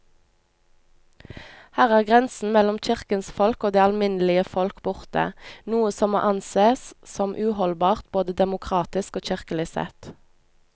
Her er grensen mellom kirkens folk og det alminnelige folk borte, noe som må ansees som uholdbart både demokratisk og kirkelig sett.